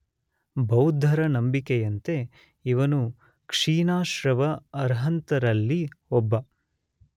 ಬೌದ್ಧರ ನಂಬಿಕೆಯಂತೆ ಇವನು ಕ್ಷೀಣಾಶ್ರವ ಅರ್ಹಂತರಲ್ಲಿ ಒಬ್ಬ.